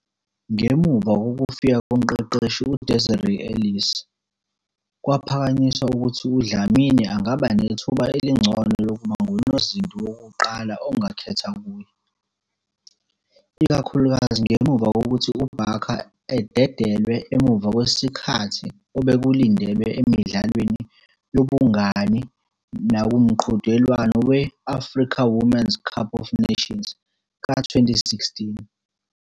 Ngemuva kokufika komqeqeshi uDesiree Ellis, kwaphakanyiswa ukuthi uDlamini angaba nethuba elingcono lokuba ngunozinti wokuqala ongakhetha kuye, ikakhulukazi ngemuva kokuthi uBarker ededelwe emuva kwesikhathi obekulindelwe emidlalweni yobungani nakumqhudelwano we- Africa Women Cup of Nations ka-2016.